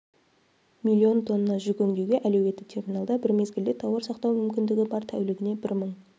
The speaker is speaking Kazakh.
миллион тонна жүк өңдеуге әлеуетті терминалда бір мезгілде тауар сақтау мүмкіндігі бар тәулігіне бір мың